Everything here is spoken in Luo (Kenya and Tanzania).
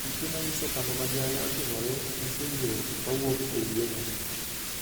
Piche manyiso kama masira ne otimore nyiso yiro kawuok e yieno.